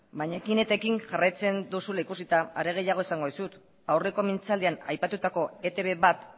baina ekin eta ekin jarraitzen duzula ikusita are gehiago esango dizut aurreko mintzaldian aipatutako etb bat